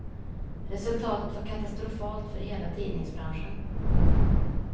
Resultatet var katastrofalt för hela tidningsbranschen.